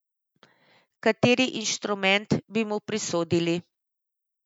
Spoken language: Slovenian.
Kateri inštrument bi mu prisodili?